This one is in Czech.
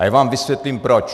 A já vám vysvětlím proč.